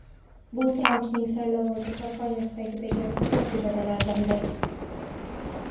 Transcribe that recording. Bu Trampning saylovoldi kampaniyasida bergan asosiy va’dalaridan biridir.